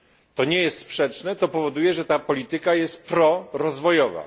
To nie jest sprzeczne, to powoduje, że ta polityka jest prorozwojowa.